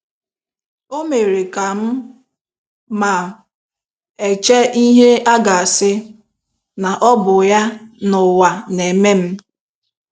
O mere kam um ma um eche ihe agasi um na obu ya n'ụwa na eme m